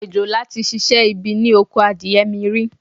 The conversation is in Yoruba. Òjòlá tí ṣiṣẹ́ ibi ni oko mi rí.